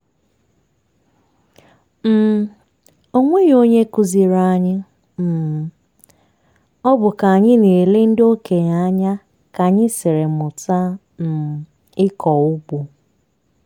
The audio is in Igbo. um o nweghi onye kụziiri anyị um ọ bụ ka anyị na-ele ndị okenye anya ka anyị siri mụta um ịkọ ụgbọ.